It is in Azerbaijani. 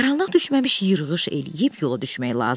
Qaranlıq düşməmiş yırğış eləyib yola düşmək lazım idi.